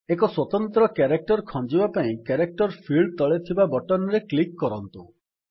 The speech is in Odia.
ଏକ ସ୍ୱତନ୍ତ୍ର କ୍ୟାରେକ୍ଟର୍ ଖଞ୍ଜିବା ପାଇଁ କ୍ୟାରେକ୍ଟର୍ ଫିଲ୍ଡ୍ ତଳେ ଥିବା ବଟନ୍ ରେ କ୍ଲିକ୍ କରନ୍ତୁ